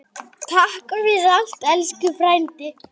Takk fyrir allt, elsku frændi.